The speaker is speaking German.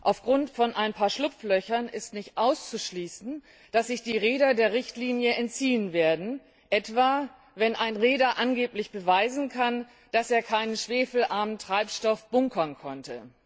Aufgrund einiger Schlupflöcher ist nicht auszuschließen, dass sich die Reeder der Richtlinie entziehen werden, wenn etwa ein Reeder angeblich beweist, dass er keine schwefelarmen Treibstoffe bunkern konnte.